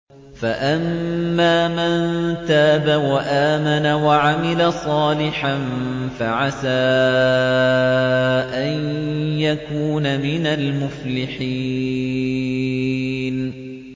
فَأَمَّا مَن تَابَ وَآمَنَ وَعَمِلَ صَالِحًا فَعَسَىٰ أَن يَكُونَ مِنَ الْمُفْلِحِينَ